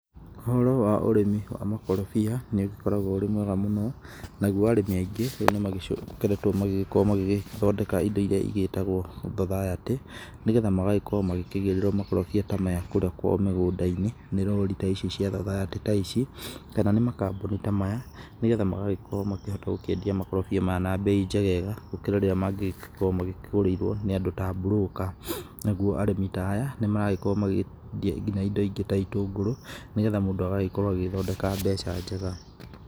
Ũhoro wa ũrĩmi wa makorobia nĩ ũgĩkoragwo ũrĩ mwega mũno nagũo arĩmi aingĩ rĩũ nĩ magĩcokeretwo magĩgĩkorwo magĩthondeka indo iria igĩtagwo thothayatĩ nĩ getha magagĩkorwo magĩkĩgũrĩrwo makorobĩa ta maya kũrĩa kwao mĩgũnda-inĩ nĩ lori ta ici cĩa thothayatĩ ta ici, tena nĩ makabuni ta maya nĩ getha magagĩkorwo makĩhota gũkĩendĩa makorobia maya na mbei njegega gũkĩra rĩrĩa mangĩgikorwo makĩgũrĩirwo ni andu ta broker. Nagũo arĩmi ta aya nĩ maragĩkorwo makĩendia indo ingĩ ta itũngũrũ nĩ getha mũndu agagĩkorwo agĩthondeka mbeca njega.